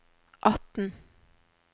atten